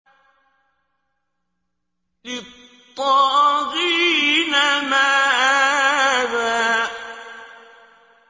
لِّلطَّاغِينَ مَآبًا